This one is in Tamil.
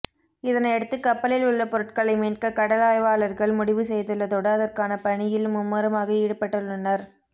இதையடுத்து கப்பலில் உள்ள பொருட்களை மீட்க கடல் ஆய்வாளர்கள் முடிவு செய்துள்ளதோடு அதற்கான பணியின் மும்முரமாக ஈடுபட்டுள்ளனர்